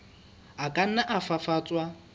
a ka nna a fafatswa